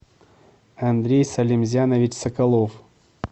андрей салимзянович соколов